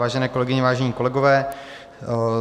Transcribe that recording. Vážené kolegyně, vážení kolegové.